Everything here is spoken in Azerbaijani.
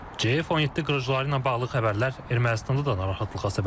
JF-17 qırıcıları ilə bağlı xəbərlər Ermənistanda da narahatlığa səbəb olub.